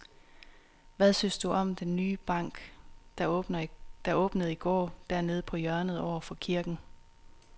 Hvad synes du om den nye bank, der åbnede i går dernede på hjørnet over for kirken?